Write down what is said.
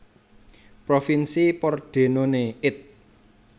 Provinsi Pordenone It